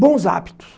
bons hábitos.